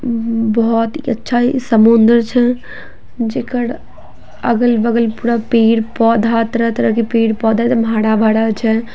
बहुत ही अच्छा समुंद्र छै जेकर अगल-बगल पूरा पेड़-पौधा तरह -तरह पेड़ पौधा एकदम हरा-भरा छै।